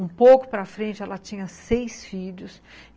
Um pouco para frente, ela tinha seis filhos.